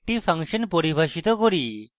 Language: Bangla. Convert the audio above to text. একটি ফাংশন পরিভাষিত করি